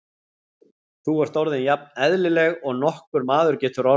Þú ert nú orðin jafn eðlileg og nokkur maður getur orðið.